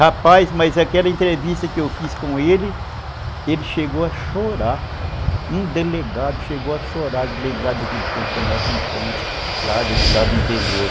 Rapaz, mas aquela entrevista que eu fiz com ele, ele chegou a chorar, um delegado chegou a chorar de lembrar daquele tempo da nossa infância lá do interior.